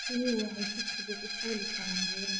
Riyuhu waxay si fudud u fuuli karaan buuraha.